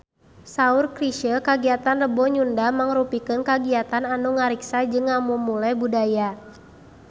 Saur Chrisye kagiatan Rebo Nyunda mangrupikeun kagiatan anu ngariksa jeung ngamumule budaya Sunda